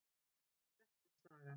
Grettis saga.